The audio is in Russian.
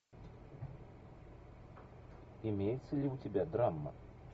имеется ли у тебя драма